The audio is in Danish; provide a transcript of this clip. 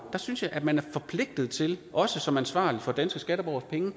synes jeg at man er forpligtet til også som ansvarlig for danske skatteborgeres penge